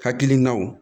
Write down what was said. Hakilinaw